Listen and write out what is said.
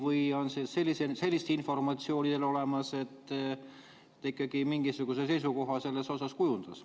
Või on teil sellist informatsiooni, et ta ikkagi mingisuguse seisukoha kujundas?